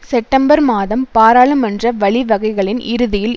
September மாதம் பாராளுமன்ற வழிவகைகளின் இறுதியில்